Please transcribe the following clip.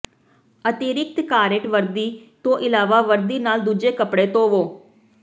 ਅਤਿਰਿਕਤ ਕਾਰੇਟ ਵਰਦੀ ਤੋਂ ਇਲਾਵਾ ਵਰਦੀ ਨਾਲ ਦੂਜੇ ਕੱਪੜੇ ਧੋਵੋ